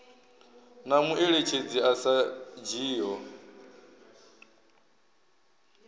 na mueletshedzi a sa dzhiiho